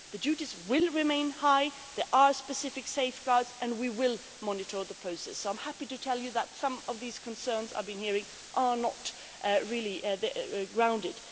The duties will remain high, there are specific safeguards and we will monitor the process, so I am happy to tell you that some of the concerns I have been hearing are not really grounded.